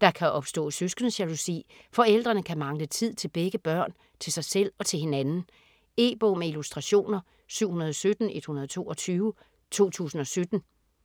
Der kan opstå søskendejalousi, forældrene kan mangle tid til begge børn, til sig selv og til hinanden. E-bog med illustrationer 717122 2017.